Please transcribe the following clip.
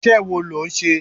Iṣẹ́ wo lo ń ṣe?